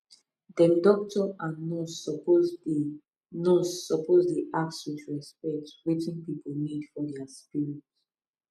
dem doctor and nurse suppose dey nurse suppose dey ask with respect wetin pipu need for dia spirit